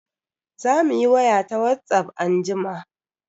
Zamu yi waya ta Whatsapp anjima.